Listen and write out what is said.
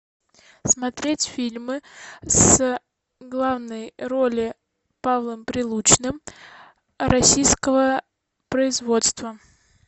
смотреть фильмы с главной роли павлом прилучным российского производства